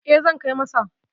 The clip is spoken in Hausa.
E, zan kai masa.